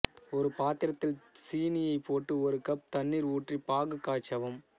ஒரு பாத்திரத்தில் சீனியை போட்டு ஒரு கப் தண்ணீர் ஊற்றி பாகு காய்ச்சவும்